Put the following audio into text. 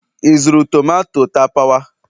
ị zụrụ tomato tapawa?